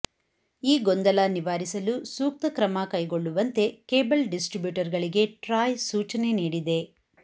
ಈ ಗೊಂದಲ ನಿವಾರಿಸಲು ಸೂಕ್ತ ಕ್ರಮ ಕೈಗೊಳ್ಳುವಂತೆ ಕೇಬಲ್ ಡಿಸ್ಟ್ರಿಬ್ಯೂಟರ್ ಗಳಿಗೆ ಟ್ರಾಯ್ ಸೂಚನೆ ನೀಡಿದೆ